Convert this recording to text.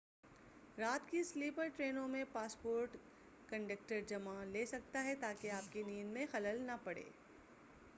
رات کی سلیپر ٹرینوں میں پاسپورٹ کنڈکٹر جمع لے سکتا ہے تاکہ آپ کی نیند میں خلل نہ پڑے